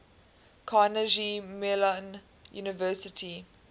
carnegie mellon university